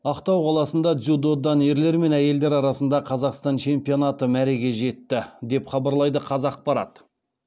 ақтау қаласында дзюдодан ерлер мен әйелдер арасында қазақстан чемпионаты мәреге жетті деп хабарлайды қазақпарат